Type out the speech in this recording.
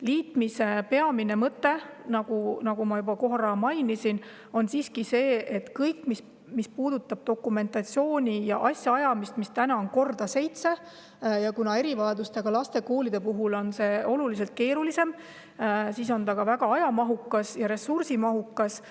Liitmise peamine mõte, nagu ma juba korra mainisin, on siiski see, et kõike seda, mis puudutab dokumentatsiooni ja asjaajamist, mida täna on korda seitse, ja kuna erivajadustega laste koolide puhul on see oluliselt keerulisem, siis on see ka väga aja- ja ressursimahukas.